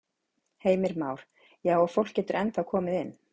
Heimir Már: Já og fólk getur ennþá komið inn?